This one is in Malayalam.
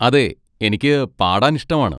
അതെ, എനിക്ക് പാടാൻ ഇഷ്ടമാണ്.